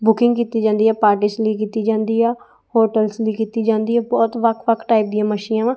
Booking ਕੀਤੀ ਜਾਂਦੀ ਹੈ ਪਰਟੀਜ਼ ਲਈ ਕੀਤੀ ਜਾਂਦੀ ਆ ਹੋਟੇਲਸ ਲਈ ਕੀਤੀ ਜਾਂਦੀ ਆ ਬਹੁਤ ਵੱਖ-ਵੱਖ ਟਾਇਪ ਦੀਆਂ ਮੱਛੀਆਂ ਵਾਂ।